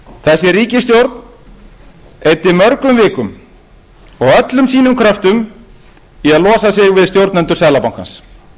þessi ríkisstjórn eyddi mörgum vikum og öllum sínum kröftum í að losa sig við stjórnendur seðlabankans